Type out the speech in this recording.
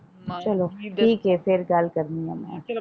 ਚਲੋ ਠੀਕ ਏ ਫੇਰ ਗੱਲ ਕਰਨੀ ਆ ਮੈਂ।